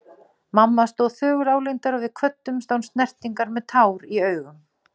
Mamma stóð þögul álengdar og við kvöddumst án snertingar með tár í augum.